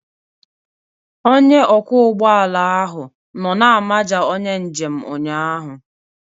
Onye ọkwọ ụgbọ ala ahụ nọ na-amaja onye njem ụnyahụ